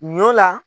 Ɲɔ la